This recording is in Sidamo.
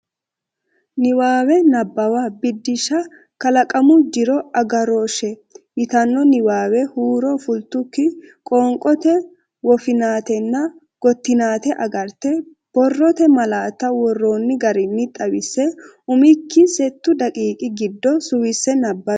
Niwaawe Nabbawa Biddissa “Kalaqamu Jiro Agarooshshe” yitanno niwaawe huuro fultukki qoonqote woffinatenna gottinate agarte, borrote malaatta worroonni garinni xawisse umikki settu daqiiqi giddo suwisse nabbawi.